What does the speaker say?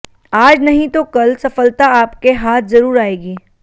आज नहीं तो कल सफलता आपके हाथ जरूर आएगी